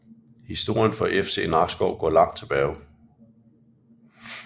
Historien for FC Nakskov går langt tilbage